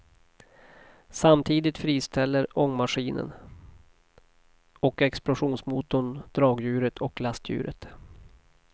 Samtidigt friställer ångmaskinen och explosionsmotorn dragdjuret och lastdjuret.